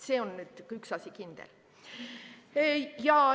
See on nüüd üks kindel asi.